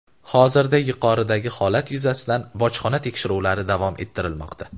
Hozirda yuqoridagi holat yuzasidan bojxona tekshiruvlari davom ettirilmoqda.